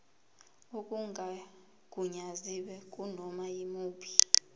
okungagunyaziwe kunoma yimuphi